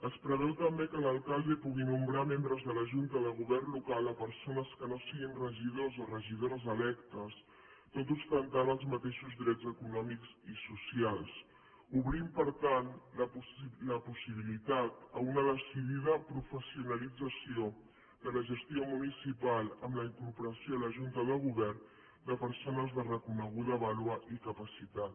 es preveu també que l’alcalde pugui nomenar membres de la junta de govern local persones que no siguin regidors o regidores electes tot ostentant els mateixos drets econòmics i socials obrint per tant la possibilitat a una decidida professionalització de la gestió municipal amb la incorporació a la junta de govern de persones de reconeguda vàlua i capacitat